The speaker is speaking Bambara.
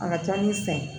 A ka ca ni san ye